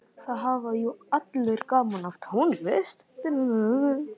Það hafa jú allir gaman af tónlist.